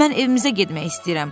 Mən evimizə getmək istəyirəm.